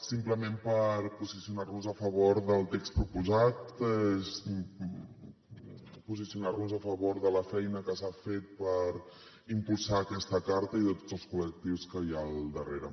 simplement per posicionar nos a favor del text proposat posicionarnos a favor de la feina que s’ha fet per impulsar aquesta carta i de tots els col·lectius que hi ha al darrere